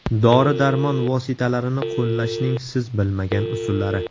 Dori-darmon vositalarini qo‘llashning siz bilmagan usullari.